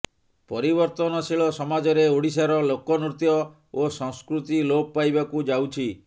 ପରିବର୍ତ୍ତନଶୀଳ ସମାଜରେ ଓଡ଼ିଶାର ଲୋକନୃତ୍ୟ ଓ ସଂସ୍କୃତି ଲୋପ୍ ପାଇବାକୁ ଯାଉଛି